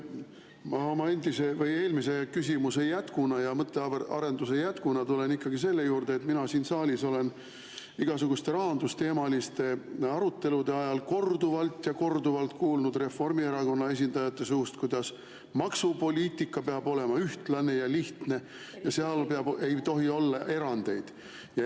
No vot, ma oma eelmise küsimuse ja mõttearenduse jätkuna tulen ikkagi selle juurde, et mina olen siin saalis igasuguste rahandusteemaliste arutelude ajal korduvalt ja korduvalt kuulnud Reformierakonna esindajate suust, et maksupoliitika peab olema ühtlane ja lihtne, seal ei tohi olla erandeid.